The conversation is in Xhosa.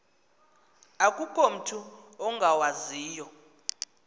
akukho mutu ungawaziyo